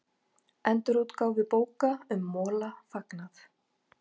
Endurútgáfu bóka um Mola fagnað